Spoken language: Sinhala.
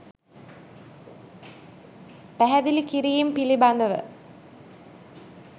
පැහැදිලිකිරීම් පිළිබඳව